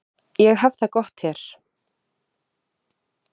Ég hef það gott hér.